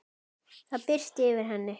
Það birti yfir henni.